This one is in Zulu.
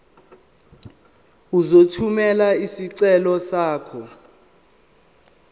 uzothumela isicelo sakho